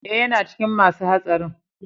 Eh, yana cikin ma su hatsarin.